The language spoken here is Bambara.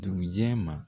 Dugujɛ ma